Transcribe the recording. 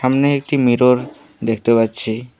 সামনে একটি মিরর দেখতে পাচ্ছি।